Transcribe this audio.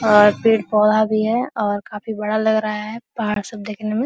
और यह पेड़-पौधा भी है और काफी बड़ा लग रहा है सब पहाड़ देखने में।